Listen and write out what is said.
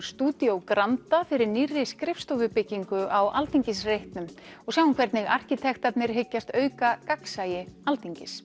stúdíó Granda fyrir nýrri skrifstofubyggingu á Alþingisreitnum og sjáum hvernig arkitektarnir hyggjast auka gagnsæi Alþingis